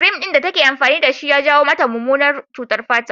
Kirim ɗin da take amfani da shi ya jawo mata mummunar cutar fata